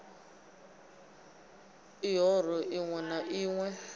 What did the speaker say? l ihoro ḽiṋwe na ḽiṋwe